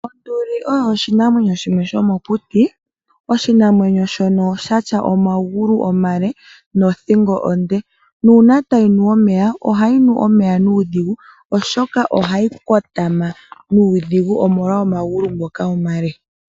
Onduli oyo oshinamwenyo shimwe shomokuti. Oshinamwenyo shono sha tya omagulu omale nothingo onde. Nuuna tayi nu omeya ohayi nu nuudhigu oshoka ohayi kotama nuudhigu, omolwa omagulu ngoka omale.